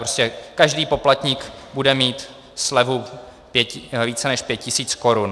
Prostě každý poplatník bude mít slevu více než 5 tis. korun.